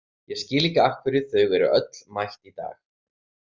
Ég skil ekki af hverju þau eru öll mætt í dag.